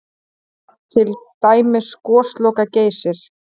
Til dæmis Gosloka-Geysir?